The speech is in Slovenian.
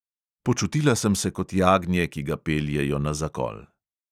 Počutila sem se kot jagnje, ki ga peljejo na zakol.